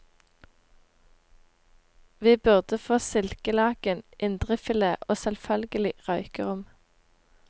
Vi burde få silkelaken, indrefilet og selvfølgelig røykerom.